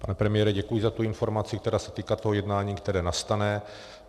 Pane premiére, děkuji za tu informaci, která se týká toho jednání, které nastane.